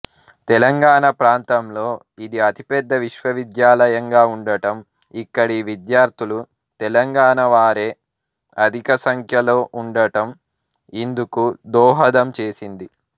తెలంగాణ ప్రాతంలో ఇది అతిపెద్ద విశ్వవిద్యాలయంగా ఉండటం ఇక్కడి విద్యార్థులు తెలంగాణ వారే అధికసంఖ్యలో ఉండటం ఇందుకు దోహదం చేసింది